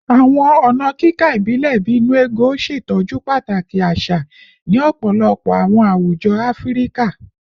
Awọn ọna kika ibilẹ bii “nnu ego” ṣetọju pataki aṣa ni ọpọlọpọ awọn awujọ Afirika